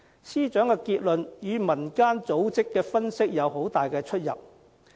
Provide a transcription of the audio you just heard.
司長的結論與民間組織的分析有很大出入。